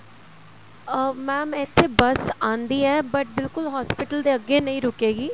ਅਹ mam ਇੱਥੇ bus ਆਂਦੀ ਏ but ਬਿਲਕੁਲ hospital ਦੇ ਅੱਗੇ ਨਹੀਂ ਰੁਕੇਗੀ